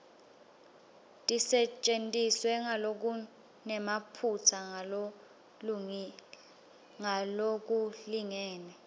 tisetjentiswe ngalokunemaphutsa ngalokulingene